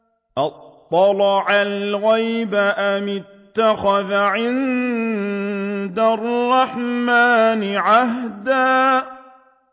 أَطَّلَعَ الْغَيْبَ أَمِ اتَّخَذَ عِندَ الرَّحْمَٰنِ عَهْدًا